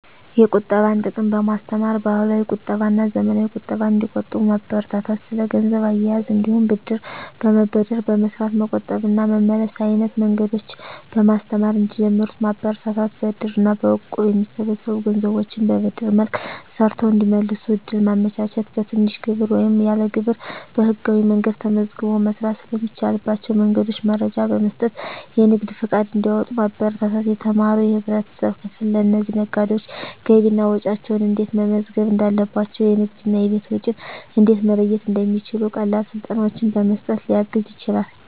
የቁጠባን ጥቅም በማስተማር፣ ባህላዊ ቁጠባና ዘመናዊ ቁጠባን እንዲቆጥቡ ማበረታታት። ስለ ገንዘብ አያያዝ እንዲሁም ብድር በመበደር በመስራት መቆጠብ እና መመለስ አይነት መንገዶችን በማስተማር እንዲጀምሩት ማበረታታት። በእድር እና በእቁብ የሚሰበሰቡ ገንዘቦችን በብድር መልክ ሰርተው እንዲመልሱ እድል ማመቻቸት። በትንሽ ግብር ወይም ያለ ግብር በህጋዊ መንገድ ተመዝግቦ መስራት ስለሚቻልባቸው መንገዶች መረጃ በመስጠት የንግድ ፈቃድ እንዲያወጡ ማበረታታት። የተማረው የህብረተሰብ ክፍል ለእነዚህ ነጋዴዎች ገቢና ወጪያቸውን እንዴት መመዝገብ እንዳለባቸው፣ የንግድና የቤት ወጪን እንዴት መለየት እንደሚችሉ ቀላል ስልጠናዎችን በመስጠት ሊያግዝ ይችላል።